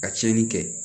Ka tiɲɛni kɛ